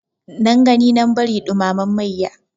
Nan gani nan bari ɗumamen mayya.